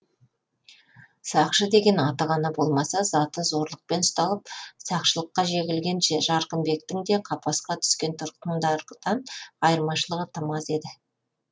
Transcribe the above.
сақшы деген аты ғана болмаса заты зорлықпен ұсталып сақшылыққа жегілген жарқынбектің де қапасқа түскен тұтқындардан айырмашылығы тым аз еді